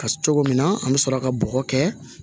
Ka cogo min na an bɛ sɔrɔ ka bɔgɔ kɛ